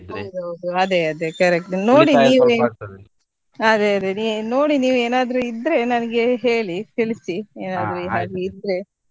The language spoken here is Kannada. ಹೌದು ಹೌದು ಅದೇ ಅದೇ correct ನೋಡಿ ನೀವು ಅದೇ ಅದೇ ನೋಡಿ ನೀವು ಏನಾದ್ರೂ ಇದ್ರೆ ನನ್ಗೆ ಹೇಳಿ ತಿಳಿಸಿ ಏನಾದ್ರೂ ಹಾಗೆ ಇದ್ರೆ.